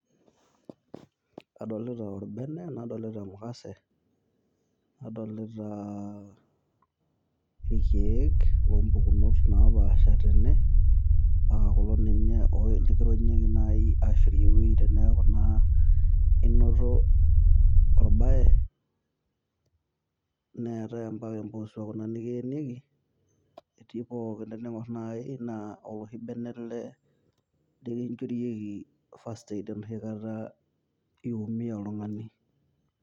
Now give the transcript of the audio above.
Adolita orbene nadolita emukase, nadolitaa irkiek loompukunot naapasha tene anaa kulo naji likironyieki aashorie ewueii teneeku naa inoto orbae neetae naa ampaka empuusua Kuna nikiyenieki, etii pooki teniing'orr naii naa oloshi bene ele likinjorieki First Aid enoshi Kata esumie oltung'ani .